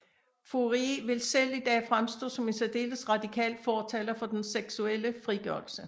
Fourier ville selv i dag fremstå som en særdeles radikal fortaler for den seksuelle frigørelse